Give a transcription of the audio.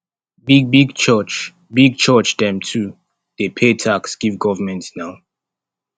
big big church big church dem too dey pay tax give government na